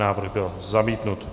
Návrh byl zamítnut.